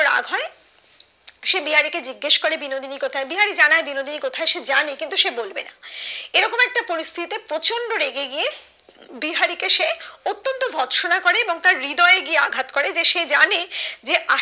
সে বিহারি কে জিজ্ঞাস করে বিনোদিনী কোথায় বিহারি জানাই দিলো যে সে জানে কিন্তু সে বলবে না এরকম একটা পরিস্তিতে প্রচন্ড রেগে গিয়ে বিহারি কে সে অত্যন্ত বকা শুনা করে এবং তার হৃদয়ে গিয়ে আঘাত করে যে সে জানে যে